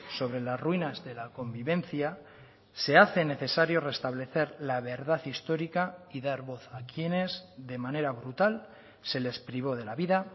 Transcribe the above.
sobre las ruinas de la convivencia se hace necesario restablecer la verdad histórica y dar voz a quienes de manera brutal se les privó de la vida